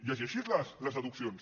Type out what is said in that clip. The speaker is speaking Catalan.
llegeixi’s les deduccions